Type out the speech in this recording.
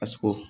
A sogo